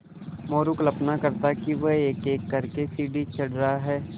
मोरू कल्पना करता कि वह एकएक कर के सीढ़ी चढ़ रहा है